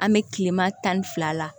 An bɛ tilema tan ni fila la